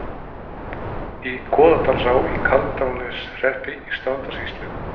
Í Goðdalsá í Kaldrananeshreppi í Strandasýslu.